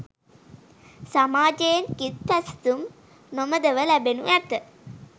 සමාජයෙන් කිත් පැසසුම් නොමදව ලැබෙනු ඇත.